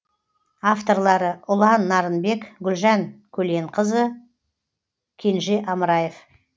авторлары ұлан нарынбек гүлжан көленқызы кенже амраев